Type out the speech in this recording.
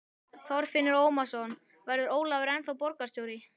Þorfinnur Ómarsson: Verður Ólafur ennþá borgarstjóri?